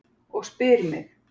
Og spyr mig: